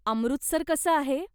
अमृतसर कसं आहे?